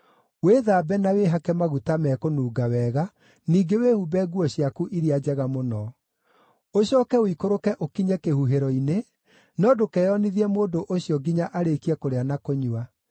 Wĩthambe na wĩhake maguta mekũnunga wega, ningĩ wĩhumbe nguo ciaku iria njega mũno. Ũcooke ũikũrũke ũkinye kĩhuhĩro-inĩ, no ndũkeyonithie mũndũ ũcio nginya arĩkie kũrĩa na kũnyua.